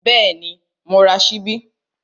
Bẹ́ẹ̀ni, mo ra ṣíbí